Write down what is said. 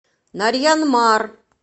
нарьян мар